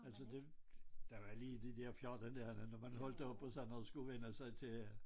Altså det der var lige de der 14 dage der når man holdt op og sådan noget skulle vænne sig til at